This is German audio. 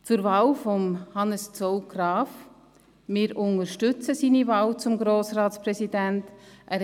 Zur Wahl von Hannes Zaugg-Graf: Wir unterstützen seine Wahl zum Grossratspräsidenten.